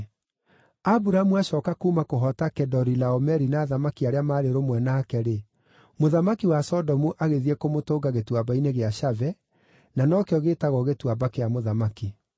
Aburamu acooka kuuma kũhoota Kedorilaomeri na athamaki arĩa maarĩ rũmwe nake-rĩ, mũthamaki wa Sodomu agĩthiĩ kũmũtũnga Gĩtuamba-inĩ gĩa Shave (na no kĩo gĩĩtagwo Gĩtuamba-kĩa-Mũthamaki).